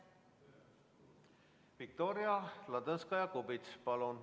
Viktoria Ladõnskaja-Kubits, palun!